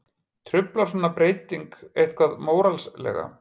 Truflar svona breyting eitthvað móralslega?